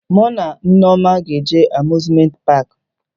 Mụ na Nneoma ga-eje Amuzmenti paakị